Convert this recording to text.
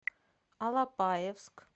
алапаевск